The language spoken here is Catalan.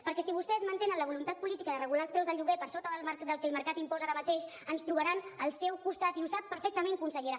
perquè si vostès mantenen la voluntat política de regular els preus del lloguer per sota del que el mercat imposa ara mateix ens trobaran al seu costat i ho sap perfectament consellera